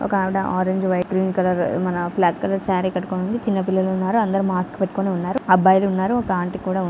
ఒక ఆవిడ orange white --